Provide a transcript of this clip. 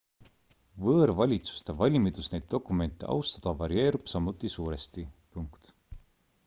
võõrvalitsuste valmidus neid dokumente austada varieerub samuti suuresti